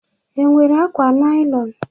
Ị nwere akwa naịlọn?